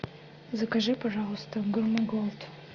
закажи пожплуйста гурме голд